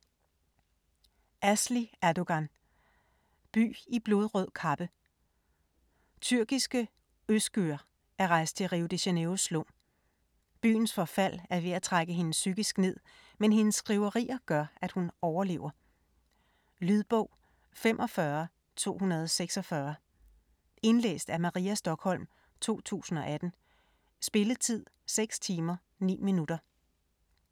Erdoğan, Asli: By i blodrød kappe Tyrkiske Özgür er rejst til Rio de Janeiros slum. Byens forfald er ved at trække hende psykisk ned, men hendes skriverier gør at hun overlever. Lydbog 45246 Indlæst af Maria Stokholm, 2018. Spilletid: 6 timer, 9 minutter.